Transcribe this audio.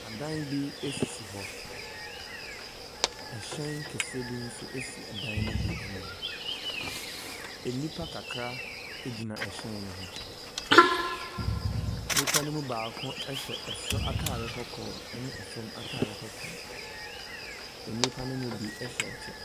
Adan bi sisi hɔ. Hyɛn kɛseɛ bi nso si dan no bi anim. Nnipa kakra gyina hyɛn no ho. Nnipa no mu baako hyɛ soro atare kɔkɔɔ ne fam atare kɔkɔɔ. Nnip ano mu bi hyɛ kyɛ.